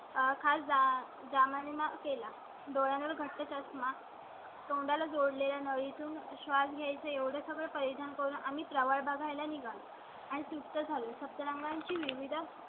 खास चा दावा केला. डोळे घट्ट चष्मा. तोंडा ला जोडले ला नळी तून श्वास घ्याय चा एवढं सगळं परिधान करून आम्ही प्रवास बघायला निघालो आणि तृप्त झालं. सप्तरंगांची, विविध